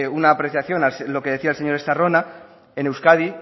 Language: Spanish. una apreciación a lo que decía el señor estarrona en euskadi